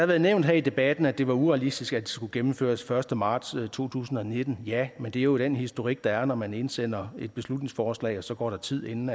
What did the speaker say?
været nævnt her i debatten at det var urealistisk at det skulle gennemføres første marts to tusind og nitten ja men det er jo den historik der er når man indsender et beslutningsforslag så går der tid inden